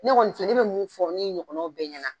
Ne kɔni fiɲɛ, ne bɛ mun fɔ n ɲɔgɔnna bɛ ɲɛna.